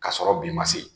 K'a sɔrɔ bi ma se